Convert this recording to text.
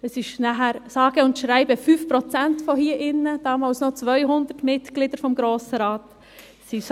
Es wurden damals 10 Frauen gewählt, sage und schreibe 5 Prozent von hier drinnen, damals noch bei 200 Mitgliedern des Grossen Rates.